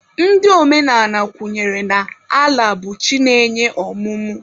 Ndị omenala kwenyere na Ala bụ chi na-enye ọmụmụ.